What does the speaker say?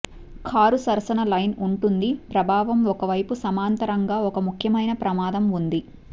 car సరసన line ఉంటుంది ప్రభావం ఒక వైపు సమాంతరంగా ఒక ముఖ్యమైన ప్రమాదం ఉంది